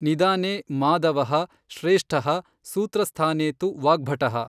ನಿದಾನೇ ಮಾಧವಃ ಶ್ರೇಷ್ಠಃ ಸೂತ್ರಸ್ಥಾನೇತು ವಾಗ್ಭಟಃ।